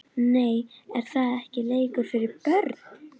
Nei er það ekki leikur fyrir börn????????